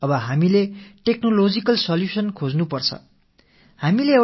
இப்போது நாம் தொழில்நுட்பத் தீர்வுகளைத் தேட வேண்டும்